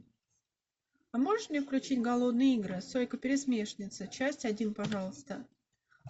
а можешь мне включить голодные игры сойка пересмешница часть один пожалуйста